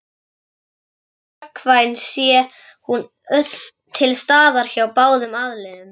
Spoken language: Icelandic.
Ást er gagnkvæm sé hún til staðar hjá báðum aðilum.